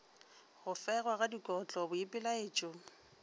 go fegwa ga dikotlo boipelaetšo